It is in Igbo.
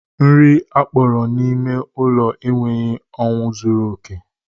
Nri akpọrọ n'ime ụlọ enweghị anwụ zuru oke